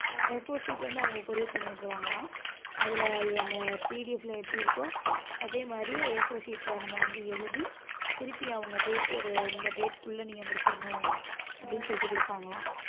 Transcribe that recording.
Afour sheet வந்து அவங்க courier பண்ணி விட்டுருவாங்களாம். அதுல அந்த PDF ல எப்படி இருக்கோ அதே மாதிரி A4 sheet ல நம்ம வந்து எழுதி திருப்பி அவங்க date ஒரு இந்த date க்குள்ள நீங்க முடிச்சிரணும் அப்படின்னு சொல்லிட்டு குடுப்பாங்களாம்